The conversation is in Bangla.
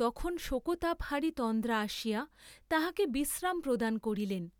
তখন শোকতাপহারী তন্দ্রা আসিয়া তাহাকে বিশ্রাম প্রদান করিলেন।